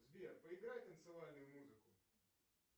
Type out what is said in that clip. сбер поиграй танцевальную музыку